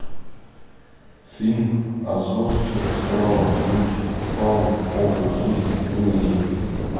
фильм азорские острова люди фауна образ жизни выведи мне